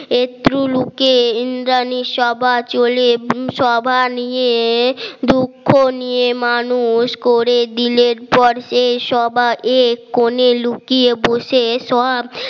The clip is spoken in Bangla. একটু লুকে ইন্দ্রানী সভা চলে এবং সভা নিয়ে দুঃখ নিয়ে মানুষ করে দিলের পর সেই সভা এ কোণে লুকিয়ে বসে এসব